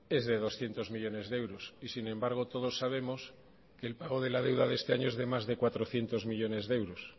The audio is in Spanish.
es de doscientos millónes de euros y sin embargo todos sabemos que el pago de la deuda de este año es de más de cuatrocientos millónes de euros